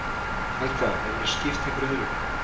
Helga: Hefurðu skipt einhverju öðru?